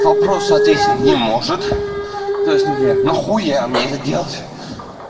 вопрос ответить не может то есть ну бля нахуя мне это делать